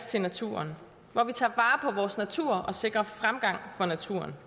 til naturen hvor vi tager vare vores natur og sikrer fremgang for naturen